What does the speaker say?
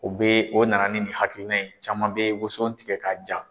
O bɛ o nana ni nin hakilina in ye caman bɛ woson tigɛ ka ja.